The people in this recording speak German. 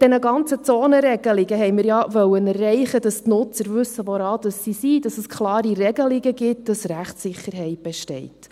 – Mit diesen ganzen Zonenregelungen wollten wir ja erreichen, dass die Nutzer wissen, woran sie sind, dass es klare Regelungen gibt, dass Rechtssicherheit besteht.